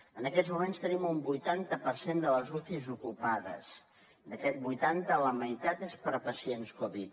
en aquests moments tenim un vuitanta per cent de les ucis ocupades d’aquest vuitanta la meitat és per a pacients covid